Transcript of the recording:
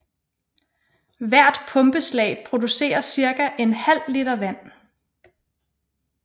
Hvert pumpeslag producerer cirka en halv liter vand